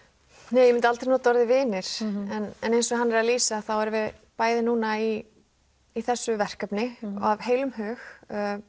nei ég myndi aldrei nota orðið vinir en eins og hann er að lýsa þá erum við bæði núna í í þessu verkefni og af heilum hug